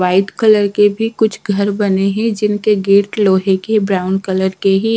White colour के भी कुछ घर बने हैं जिनके गेट लोहे के ब्राउन कलर के हैं।